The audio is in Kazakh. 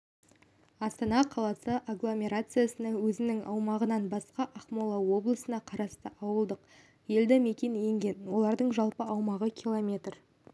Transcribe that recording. астана қаласы агломерациясына өзінің аумағынан басқа ақмола облысына қарасты ауылдық елді-мекен енген олардың жалпы аумағы километр